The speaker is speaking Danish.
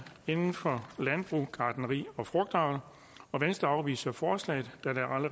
inden for landbrug gartneri og frugtavl og venstre afviser forslaget